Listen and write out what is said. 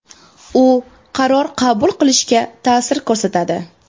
U qaror qabul qilishga ta’sir ko‘rsatadi.